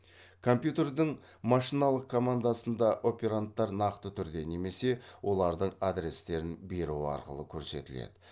компьютердің машиналық командасында операндтар нақты түрде немесе олардың адрестерін беру арқылы көрсетіледі